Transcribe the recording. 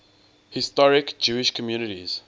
historic jewish communities